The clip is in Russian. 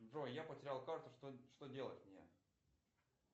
джой я потерял карту что делать мне